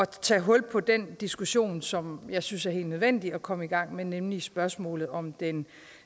tage hul på den diskussion som jeg synes er helt nødvendig at komme i gang med nemlig spørgsmålet om den